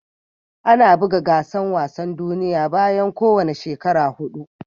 Ana bugan gasan wasan duniyya bayan ko wani shekara hudu.